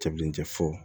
Cɛ bilen tɛ fo